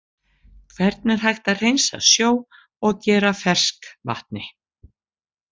Hvernig er hægt að hreinsa sjó og gera að ferskvatni?